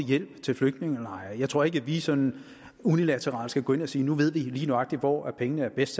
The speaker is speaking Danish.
hjælp til flygtningelejre jeg tror ikke at vi sådan unilateralt skal gå ind og sige at nu ved vi lige nøjagtig hvor pengene er bedst